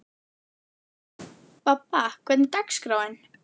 Bobba, hvernig er dagskráin?